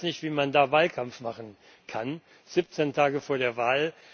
Ich weiß nicht, wie man da Wahlkampf machen kann 17 Tage vor der Wahl.